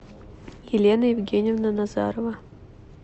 елена евгеньевна назарова